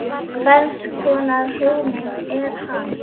Hvers konar hugmynd er hann?